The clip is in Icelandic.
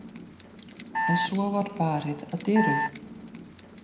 En svo var barið að dyrum.